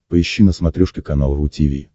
поищи на смотрешке канал ру ти ви